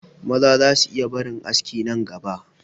Maza za su iya barin aski nan gaba